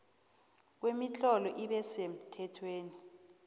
kwemitlolo ibe semthethweni